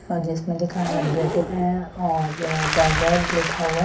list में लिखा है एं और बर्गज लिखा हुआ --